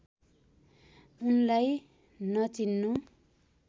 उनलाई नचिन्नु